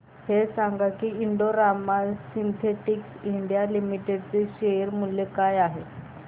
हे सांगा की Indo Rama synthetics India limited चे शेअर मूल्य काय आहे